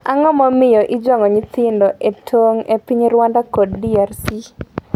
Ang’o momiyo ijwang'o nyithindo e tong e piny Rwanda kod DRC?